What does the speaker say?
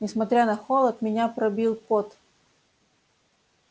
несмотря на холод меня пробил пот